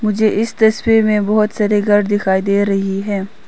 मुझे इस तस्वीर में बहुत सारे घर दिखाई दे रही है।